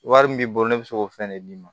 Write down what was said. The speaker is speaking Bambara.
Wari min b'i bolo ne bɛ se k'o fɛn de d'i ma